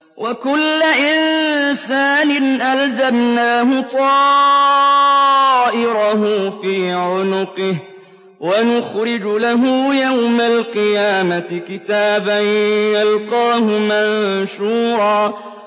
وَكُلَّ إِنسَانٍ أَلْزَمْنَاهُ طَائِرَهُ فِي عُنُقِهِ ۖ وَنُخْرِجُ لَهُ يَوْمَ الْقِيَامَةِ كِتَابًا يَلْقَاهُ مَنشُورًا